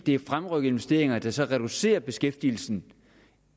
er fremrykkede investeringer der så reducerer beskæftigelsen